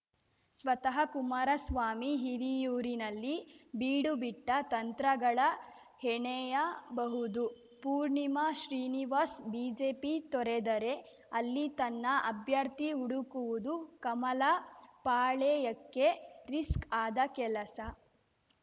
ಸ್ವತಹ ಕುಮಾರಸ್ವಾಮಿ ಹಿರಿಯೂರಿನಲ್ಲಿ ಬೀಡು ಬಿಟ್ಟ ತಂತ್ರಗಳ ಹೆಣೆಯಬಹುದು ಪೂರ್ಣಿಮಾ ಶ್ರೀನಿವಾಸ್‌ ಬಿಜೆಪಿ ತೊರೆದರೆ ಅಲ್ಲಿ ತನ್ನ ಅಭ್ಯರ್ಥಿ ಹುಡುಕುವುದು ಕಮಲ ಪಾಳೆಯಕ್ಕೆ ರಿಸ್ಕ್‌ ಆದ ಕೆಲಸ